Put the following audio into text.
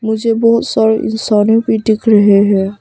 मुझे बहुत सारे इंसानों भी दिख रहे हैं।